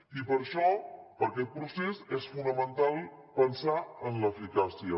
i per això per aquest procés és fonamental pensar en l’eficàcia